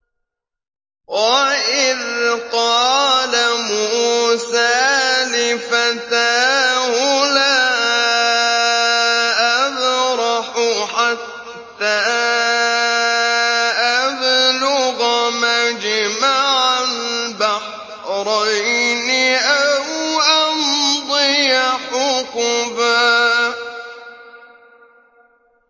وَإِذْ قَالَ مُوسَىٰ لِفَتَاهُ لَا أَبْرَحُ حَتَّىٰ أَبْلُغَ مَجْمَعَ الْبَحْرَيْنِ أَوْ أَمْضِيَ حُقُبًا